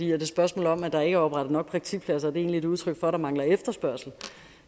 et spørgsmål om at der ikke er oprettet nok praktikpladser egentlig et udtryk for at der mangler efterspørgsel